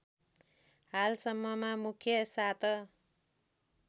हालसम्ममा मुख्य सात